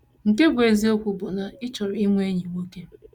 Nke bụ́ bụ́ eziokwu bụ na ị chọrọ inwe enyi nwoke.